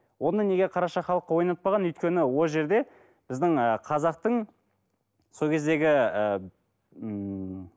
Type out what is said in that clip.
оны неге қараша халыққа ойнатпаған өйткені ол жерде біздің ы қазақтың сол кездегі ы ммм